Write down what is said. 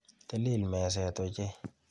Tilil meset ochei.